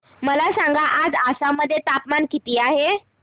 मला सांगा आज आसाम मध्ये तापमान किती आहे